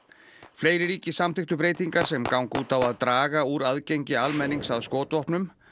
fleiri ríki samþykktu breytingar sem ganga út að draga úr aðgengi almennings að skotvopnum